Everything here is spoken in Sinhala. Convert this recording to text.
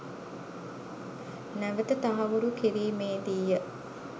නැවත තහවුරු කිරීමේ දී ය.